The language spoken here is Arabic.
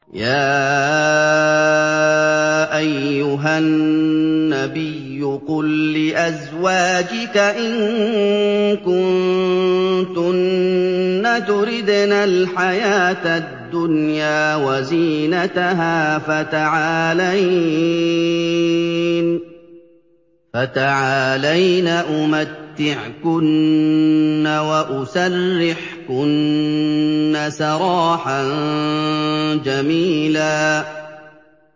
يَا أَيُّهَا النَّبِيُّ قُل لِّأَزْوَاجِكَ إِن كُنتُنَّ تُرِدْنَ الْحَيَاةَ الدُّنْيَا وَزِينَتَهَا فَتَعَالَيْنَ أُمَتِّعْكُنَّ وَأُسَرِّحْكُنَّ سَرَاحًا جَمِيلًا